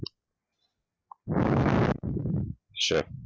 shape